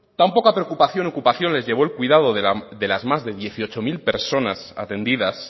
tan poca preocupación ocupaciones llegó el cuidado de las más de dieciocho mil personas atendidas